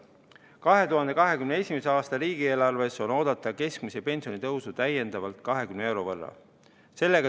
2021. aasta riigieelarves on oodata keskmise pensioni tõusu veel 20 euro võrra.